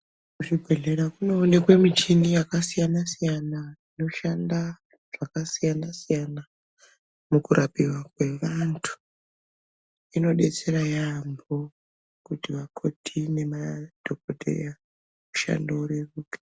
Kuzvibhedhlera kunoonekwe michini yakasiyana siyana inoshanda zvakasiyana siyana mukurapiwa kwevantu inodetsera yeyamho kuti vakhoti nemadhokodhaya mushando ureruke.